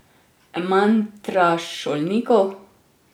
Mantra šolnikov?